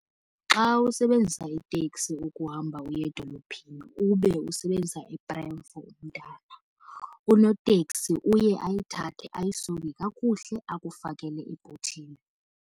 Xa usebenzisa itekisi ukuhamba uye edolophini ube usebenzisa i-prem for umntana, unoteksi uye ayithathe ayisonge kakuhle akufakele ebhuthini.